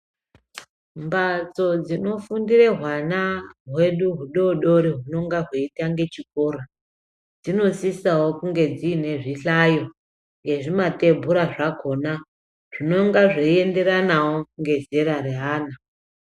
Mhatso dzinofundire hwana hwedu hudoodori hunonga hweitange chikora dzinosisawo kunge dziine zvihlayo nezvimatebhura zvakhona zvinonga zveienderanawo nezera reana.